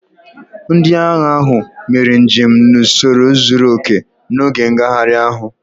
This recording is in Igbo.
Ndị agha ahụ mere njem n'usoro zuru oke n'oge ngagharị ahụ